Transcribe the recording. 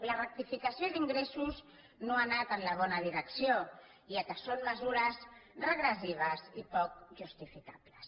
la rectificació d’ingressos no ha anat en la bona direcció ja que són mesures regressives i poc justificables